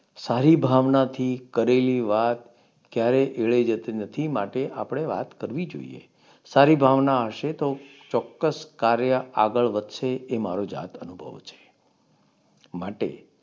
સારી ભાવનાથી કરેલી વાત ક્યારેય જતી નથી. માટે આપણે વાત કરવી જોઈએ. સારી ભાવના હશે તો ચોક્કસ કાર્ય આગળ વધશે. એ મારો જાત અનુભવ છે. માટે